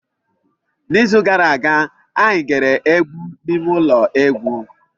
N'izu gara aga, anyị gere egwu n'ime ụlọ egwu.